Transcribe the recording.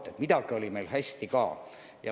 Nii et midagi on meil hästi ka.